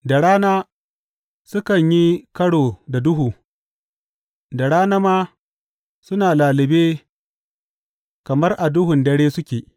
Da rana sukan yi karo da duhu; da rana ma suna lallube kamar a duhun dare suke.